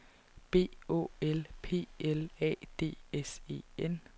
B Å L P L A D S E N